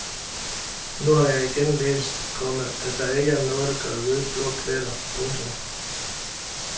Nu har jeg igen læst, komma at der ikke er noget at gøre ved blå pletter. punktum